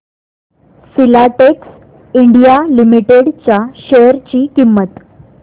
Filatex India limited च्या share ची किंमत